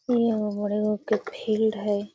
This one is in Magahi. यहाँ बड़ी गो के फिल्ड हई I